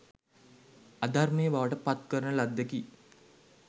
අධර්මය බවට පත් කරන ලද්දකි.